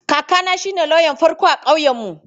Kakana shine lauya na farko a ƙauyenmu.